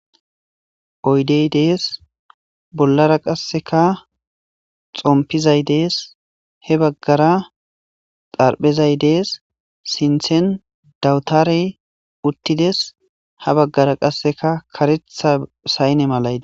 Oydey dees bollara qasseka xompizay dees he baggara xarphezay dees sinthen dawutare uttides ha baggara qasseka karetha sayne malayde.